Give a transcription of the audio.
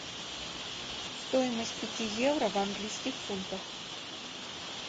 стоимость пяти евро в английских фунтах